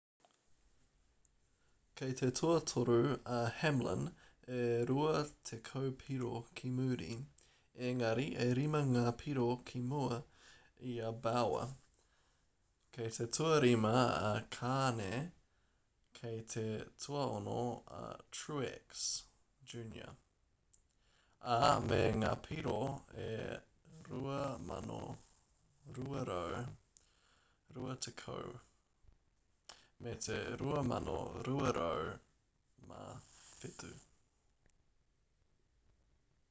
kei te tuatoru a hamlin e rua tekau piro ki muri engari e rima ngā piro ki mua i a bowyer kei te tuarima a kahne kei te tuaono a truex jr ā me ngā piro e 2,220 me te 2,207